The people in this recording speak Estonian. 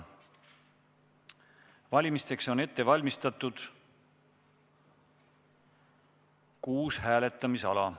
Valimiseks on ette valmistatud kuus hääletamisala.